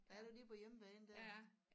Der er du lige på hjemmebane der